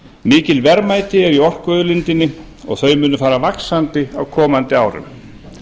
mikil verðmæti eru í orkuauðlindinni og þau munu fara vaxandi á komandi árum